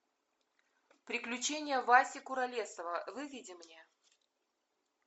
приключения васи куролесова выведи мне